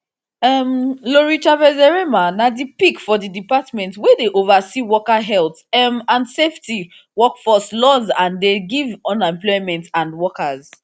um lori chavezderemer na di pick for di department wey dey oversee worker health um and safety workforce laws and dey give unemployment and workers compensation